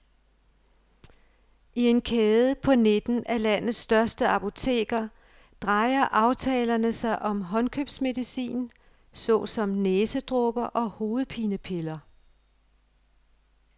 I en kæde på nitten af landets største apoteker drejer aftalerne sig om håndkøbsmedicin såsom næsedråber og hovedpinepiller.